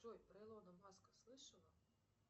джой про илона маска слышала